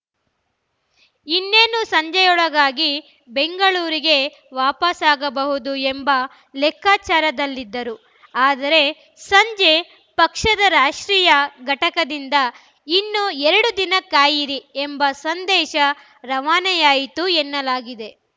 ಇನ್ನೇನು ಸಂಜೆಯೊಳಗಾಗಿ ಬೆಂಗಳೂರಿಗೆ ವಾಪಸಾಗಬಹುದು ಎಂಬ ಲೆಕ್ಕಾಚಾರದಲ್ಲಿದ್ದರು ಆದರೆ ಸಂಜೆ ಪಕ್ಷದ ರಾಷ್ಟ್ರೀಯ ಘಟಕದಿಂದ ಇನ್ನೂ ಎರಡು ದಿನ ಕಾಯಿರಿ ಎಂಬ ಸಂದೇಶ ರವಾನೆಯಾಯಿತು ಎನ್ನಲಾಗಿದೆ